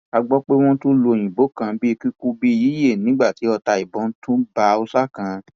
a gbọ pé wọn tún lu òyìnbó kan bíi kíkú bíi yíyẹ nígbà tí ọta ìbọn tún bá haúsá kan